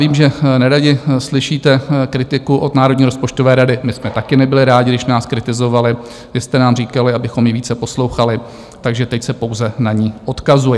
Vím, že neradi slyšíte kritiku od Národní rozpočtové rady, my jsme také nebyli rádi, když nás kritizovali, vy jste nám říkali, abychom ji více poslouchali, takže teď se pouze na ni odkazuji.